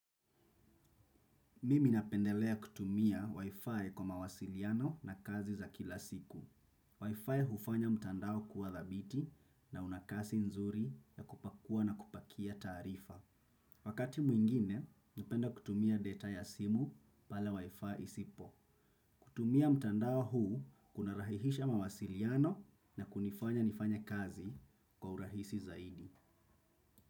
Mimi napendelea kutumia Wi-Fi kwa mawasiliano na kazi za kila siku. Wi-Fi hufanya mtandao kuwa dhabiti na unakasi nzuri ya kupakua na kupakia taarifa. Wakati mwingine, napenda kutumia data ya simu pale Wi-Fi isipo. Kutumia mtandao huu kuna rahisisha mawasiliano na kunifanya nifanye kazi kwa urahisi zaidi.